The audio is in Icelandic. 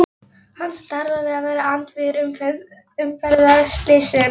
Hann starfar við að vera andvígur umferðarslysum.